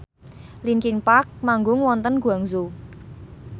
linkin park manggung wonten Guangzhou